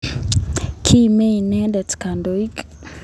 Kimaian inendet kandoik